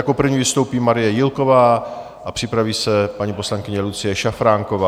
Jako první vystoupí Marie Jílková a připraví se paní poslankyně Lucie Šafránková.